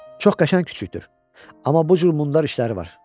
Çox qəşəng küçükdür, amma bu cür mundar işləri var.